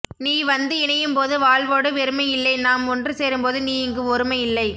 நீ வந்து இணையும்போது வாழ்வோடு வெறுமையில்லை நாம் ஒன்று சேரும்போது நீ இங்கு ஒருமை இல்லை